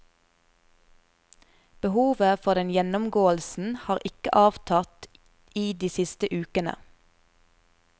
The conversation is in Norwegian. Behovet for den gjennomgåelsen har ikke avtatt i de siste ukene.